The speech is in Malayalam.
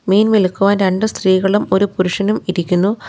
മീൻ വിൽക്കുവാൻ രണ്ടു സ്ത്രീകളും ഒരു പുരുഷനും ഇരിക്കുന്നു.